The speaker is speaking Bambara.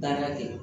Baara kɛ